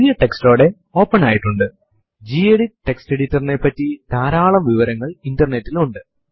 നിങ്ങൾ ഈ command type ചെയ്യുമ്പോൾ നിലവിലുള്ള പാസ്സ്വേർഡ് ടൈപ്പ് ചെയ്യുവാൻ നിങ്ങളോട് ആവശ്യപെടും